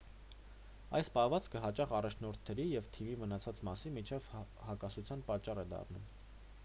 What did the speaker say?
այս պահվածքը հաճախ առաջնորդների և թիմի մնացած մասի միջև հակասության պատճառ է դառնում